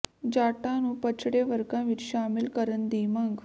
ਜਾਟਾਂ ਨੂੰ ਪਛੜੇ ਵਰਗਾਂ ਵਿਚ ਸ਼ਾਮਲ ਕਰਨ ਦੀ ਮੰਗ